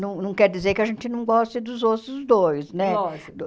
Não não quer dizer que a gente não goste dos outros dois, né? Lógico